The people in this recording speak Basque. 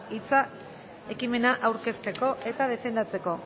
hitza ekimena aurkezteko eta defendatzeko